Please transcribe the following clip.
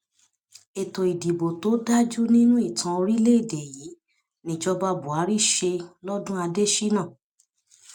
ètò ìdìbò tó dáa jù nínú ìtàn orílẹèdè yìí níjọba buhari ṣe lọdún adésínà